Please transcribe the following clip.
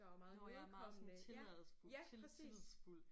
Nåh ja meget sådan tillidsfuld til tillidsfuld